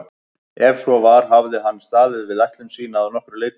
Ef svo var hafði hann staðið við ætlun sína að nokkru leyti.